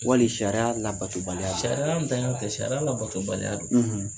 Wali sariya labatobaliya ,sariyantanya tɛ, sariya labatobaliya don.